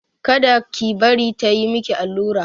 Kada ki bari ta yi maki allura!